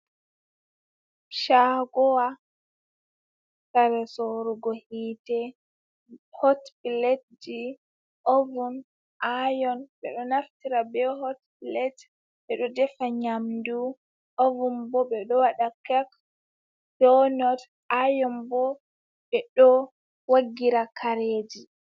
Shagowa kare sorugo hitte hot pletji, ovun, ayon, ɓeɗo naftira be hot blet ɓeɗo defa nyamdu, ovun bo ɓeɗo waɗa kak, donot, ayon bo ɓe ɗo woggira kareji.